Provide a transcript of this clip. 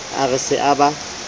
a re se a ba